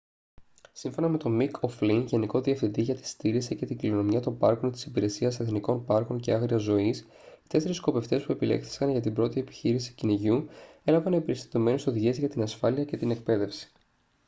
σύμφωνα με τον μικ ο' φλιν γενικό διευθυντή για τη συντήρηση και την κληρονομιά των πάρκων της υπηρεσίας εθνικών πάρκων και άγριας ζωής οι τέσσερεις σκοπευτές που επιλέχθηκαν για την πρώτη επιχείρηση κυνηγιού έλαβαν εμπεριστατωμένες οδηγίες για την ασφάλεια και την εκπαίδευση